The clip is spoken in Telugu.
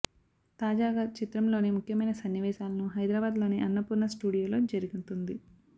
తాజాగా చిత్రం లోని ముఖ్యమైన సన్నివేశాలను హైదరాబాద్ లోని అన్నపూర్ణ స్టూడియో లో జరుగుతుంది